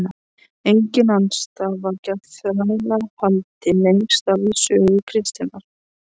Engin andstaða var gegn þrælahaldi lengst af í sögu kristninnar.